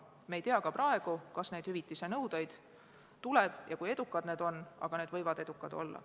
Me ei tea ka praegu, kas neid hüvitise nõudeid tuleb ja kui edukad need on, aga need võivad edukad olla.